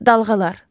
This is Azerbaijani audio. Dalğalar.